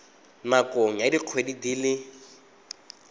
nakong ya dikgwedi di le